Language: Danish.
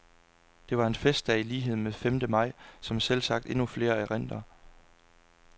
Det var en festdag i lighed med femte maj, som selvsagt endnu flere erindrer.